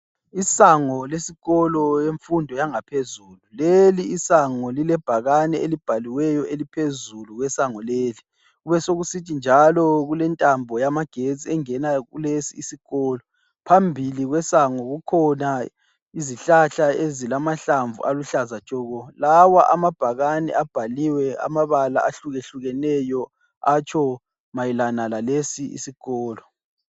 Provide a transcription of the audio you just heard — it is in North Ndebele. Isango lesikolo emfundo yangaphezulu leli isango lilebhakane elibhaliweyo eliphezulu kwesango leli, kube sokusithi njalo kulentambo yamagetsi engena kulesi isikolo phambili kwesango kukhona izihlahla ezimahlamvu aluhlaza tshoko lawa amabhakane abhaliwe amabala ahlukahlukeneyo atsho mayelana lalesi isikolo.